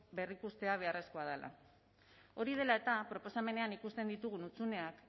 berrikustea beharrezkoa dela hori dela eta proposamenean ikusten ditugun hutsuneak